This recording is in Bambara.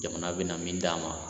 Jamana bɛna min d'an ma